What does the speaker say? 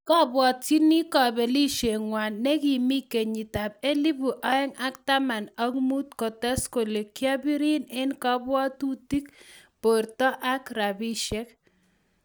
kobwotchin kobelisieng'wa ne kimi kenyitab elebu oeng ak taman ak muut ,kotes kole,"kiabirin eng kabwatutik, borto ak rabiishek"!